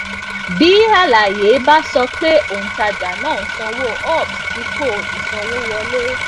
bí àlàyé bá sọ pé òǹtajà náà sanwó ups dípò ìsanwówọlé